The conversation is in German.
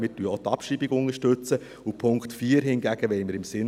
Wir unterstützen auch die Abschreibung.